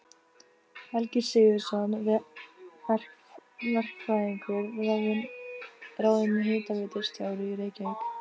Helgi Sigurðsson verkfræðingur ráðinn hitaveitustjóri í Reykjavík.